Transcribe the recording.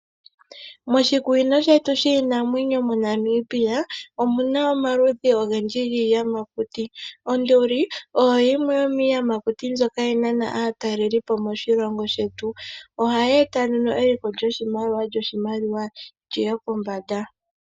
Moshikunino shetu shiinamwenyo moNamibia omuna omaludhi ogendji giiyamakuti. Onduli oyo yimwe yomiiyamakuti ndjoka ha yi nana aataleli po moshilongo shetu. Oha ya eta nduno eliko lyoshimaliwa lyi ye pombanda.